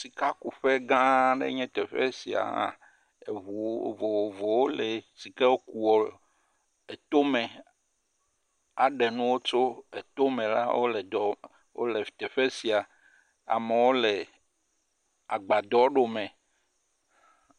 Sikakuƒe gã aɖe enye teƒe sia. Eŋu vovovo woli si ke kua tome aɖe nuwo tso tome la wole teƒe sia. Amewo le agbadɔ ɖome.